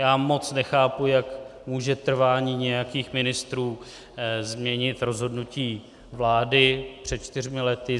Já moc nechápu, jak může trvání nějakých ministrů změnit rozhodnutí vlády před čtyřmi lety.